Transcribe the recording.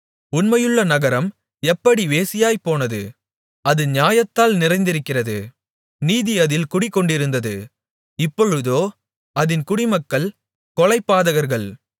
உண்மையுள்ள நகரம் எப்படி வேசியாய்ப்போனது அது நியாயத்தால் நிறைந்திருந்தது நீதி அதில் குடிகொண்டிருந்தது இப்பொழுதோ அதின் குடிமக்கள் கொலைபாதகர்கள்